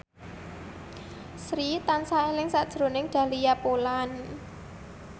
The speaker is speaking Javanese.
Sri tansah eling sakjroning Dahlia Poland